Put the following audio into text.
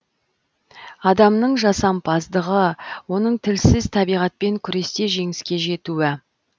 адамның жасампаздығы оның тілсіз табиғатпен күресте жеңіске жетуі